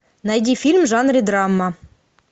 найди фильм в жанре драма